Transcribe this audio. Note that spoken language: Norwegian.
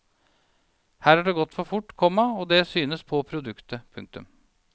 Her har det gått for fort, komma og det synes på produktet. punktum